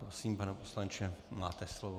Prosím, pane poslanče, máte slovo.